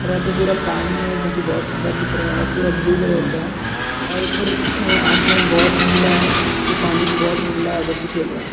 और यहाँ पर पुरा पानी हैं जो की बोहोत सुंदर दिख रहा है और पुरा ब्लू कलर का है और ऊपर अ आसमान बोहोत नीला है। ये पानी भी बोहोत नीला है बच्चे खेल रहे हैं |